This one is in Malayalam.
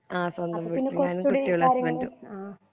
ആ സ്വന്തം വീട്ടില് തന്നെ ഞാനും കുട്ടികളും ഹസ്ബൻഡും